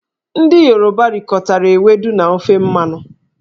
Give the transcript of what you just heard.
Ndị Yoruba rikọtara ewedu na ofe mmanụ.